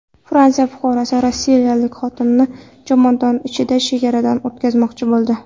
Fransiya fuqarosi rossiyalik xotinini jomadon ichida chegaradan o‘tkazmoqchi bo‘ldi.